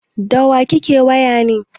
Da wa kake waya ne?